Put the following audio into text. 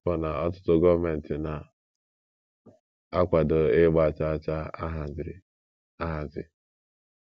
Ọbụna ọtụtụ gọọmenti na - akwado ịgba chaa chaa a haziri ahazi.